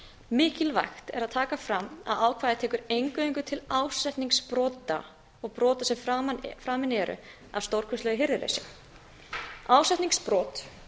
mikilvægt er að taka fram að ákvæðið tekur eingöngu til ásetningsbrota og brota sem framin eru af stórkostlegu hirðuleysi ásetningsbrot